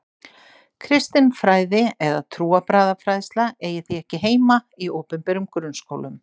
Kristin fræði eða trúarbragðafræðsla eigi því ekki heima í opinberum grunnskólum.